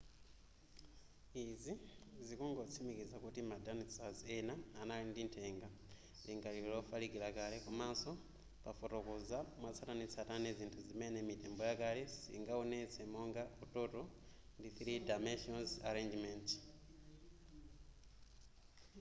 izi zikungotsimikiza kuti ma dinosaurs ena anali ndi nthenga lingaliro lofalikila kale komanso pafotokoza mwatsatanetsatane zinthu zimene mitembo yakale siingaonetse monga utoto ndi 3 dimension arrangement